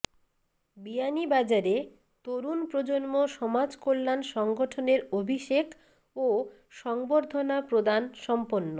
বিয়ানীবাজারে তরুণ প্রজন্ম সমাজকল্যাণ সংগঠনের অভিষেক ও সংবর্ধনা প্রদান সম্পন্ন